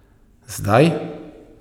Zdaj ...